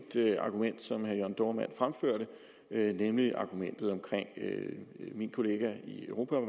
argument som herre jørn dohrmann fremførte nemlig argumentet omkring min kollega i europa